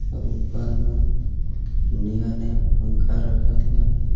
और ऊपर मे नया नया पंखा रखा हुआ हे.